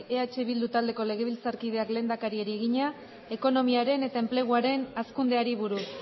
eh bildu taldeko legebiltzarkideak lehendakariari egina ekonomiaren eta enpleguaren hazkundeari buruz